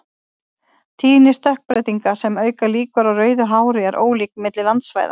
Tíðni stökkbreytinga sem auka líkur á rauðu hári er ólík milli landsvæða.